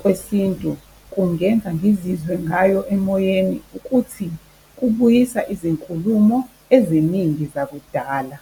kwesintu kungenza ngizizwe ngayo emoyeni ukuthi kubuyisa izinkulumo eziningi zakudala.